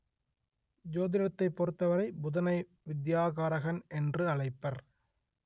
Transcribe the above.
ஜோதிடத்தைப் பொறுத்தவரை புதனை வித்யாகாரகன் என்று அழைப்பர்